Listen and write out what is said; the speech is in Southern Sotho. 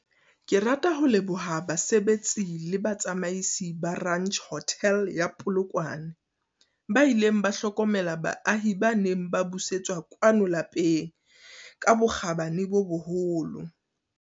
Ke rata ho leboha basebetsi le batsamaisi ba Ranch Hotel ya Polokwane, ba ileng ba hlokomela baahi ba neng ba busetswa kwano lapeng ka bokgabane bo boholo.